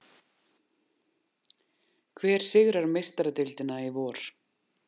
Hver sigrar Meistaradeildina í vor?